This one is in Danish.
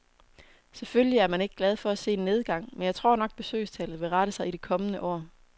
Selvfølgelig er man ikke glad for at se en nedgang, men jeg tror nok, besøgstallet vil rette sig i det kommende år.